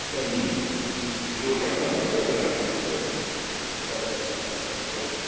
കഴിഞ്ഞിരിക്കും. സത്യമാണ് അത് സത്യമാണ്. സത്യം സത്യം സത്യമാണത്.